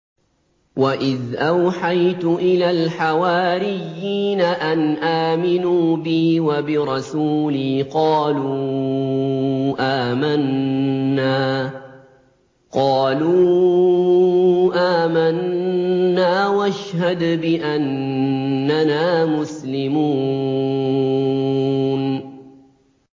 وَإِذْ أَوْحَيْتُ إِلَى الْحَوَارِيِّينَ أَنْ آمِنُوا بِي وَبِرَسُولِي قَالُوا آمَنَّا وَاشْهَدْ بِأَنَّنَا مُسْلِمُونَ